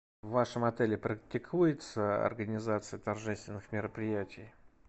в вашем отеле практикуется организация торжественных мероприятий